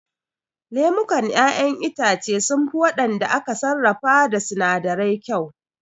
Lemukan ƴaƴen itace sunfi waɗanda aka sarrafa da sinadirai kyau